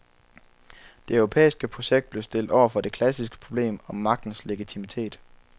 Det europæiske projekt blev stillet over for det klassiske problem om magtens legitimitet.